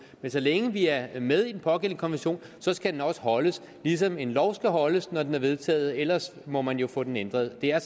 men så længe vi er er med i den pågældende konvention skal den også overholdes ligesom en lov skal overholdes når den er vedtaget ellers må man jo få den ændret det er